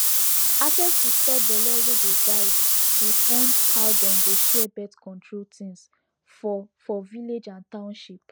access to stop belle wey dey guide dey fund how dem go share birthcontrol things for for village and township